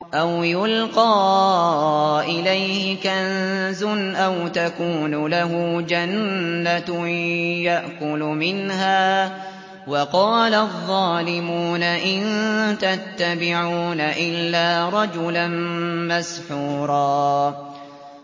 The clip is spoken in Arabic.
أَوْ يُلْقَىٰ إِلَيْهِ كَنزٌ أَوْ تَكُونُ لَهُ جَنَّةٌ يَأْكُلُ مِنْهَا ۚ وَقَالَ الظَّالِمُونَ إِن تَتَّبِعُونَ إِلَّا رَجُلًا مَّسْحُورًا